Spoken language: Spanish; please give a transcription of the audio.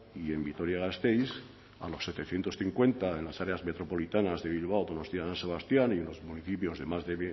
y en vitoria gasteiz a los setecientos cincuenta en las áreas metropolitanas de bilbao donostia san sebastián y los municipios de más de